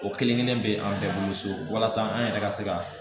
O kelen kelen bɛ an bɛɛ bolo so walasa an yɛrɛ ka se ka